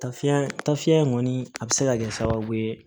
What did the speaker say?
Taa fiɲɛ ta fiɲɛ in kɔni a bɛ se ka kɛ sababu ye